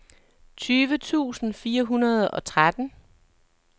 tyve tusind fire hundrede og tretten